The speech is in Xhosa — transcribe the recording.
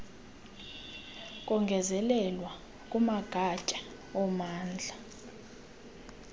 kongezelelwa kumagatya ommandla